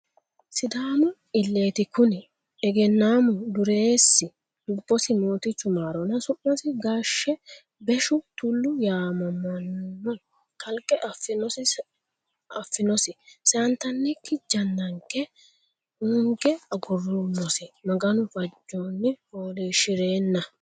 Sidaamu ileti kuni egennamu dureesi lubbosi mootichu maaronna su'masi Gaashshe Beshu Tulu yaamamano kalqe afinosi seyantannikki jannanke hoonge aguroommosi Maganu fajonni foolishshirenna.